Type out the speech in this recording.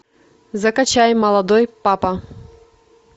закачай молодой папа